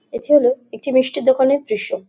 এটি হলো একটি মিষ্টির দোকানের দৃশ্য।